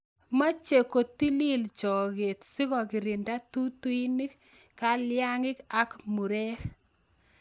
Mache kotili choge sikokirinda tutuinik, kalyang'ik ak murek